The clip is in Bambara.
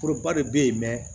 Foroba de be yen